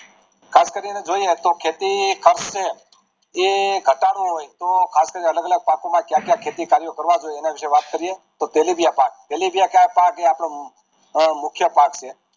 ખાસ કરીને જોઈએ તો ખેતી ખર્ચ એ ઘટાડવો હોય તો આલગ અલગ પાક માં કયા ક્યાં ખેતી કર્યો કરવા જોઈએ એના વિશે વાત કરીએ તો તેલીબિયાં પાક પેલિબીયા પાક એ આપડો મુખ્ય પાક છે